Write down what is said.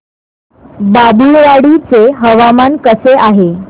बाभुळवाडी चे हवामान कसे आहे